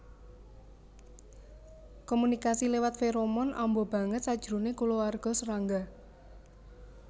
Komunikasi lewat feromon amba banget sajroné kulawarga serangga